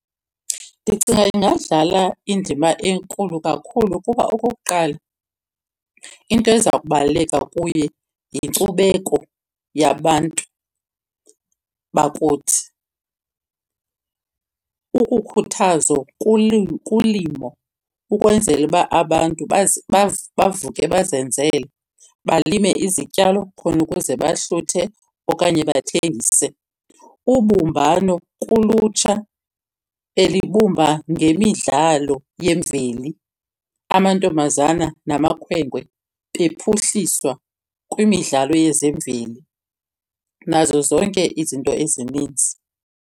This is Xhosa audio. Ndicinga ingadlala indima enkulu kakhulu kuba okokuqala into eza kubaluleka kuye yinkcubeko yabantu bakuthi. Ukukhuthazo kulimo ukwenzela uba abantu bavuke bazenzele, balime izityalo khona ukuze bahluthe okanye bathengise. Ubumbano kulutsha elibumba ngemidlalo yemveli. Amantombazana namakhwenkwe bephuhliswa kwimidlalo yezemveli nazo zonke izinto ezininzi.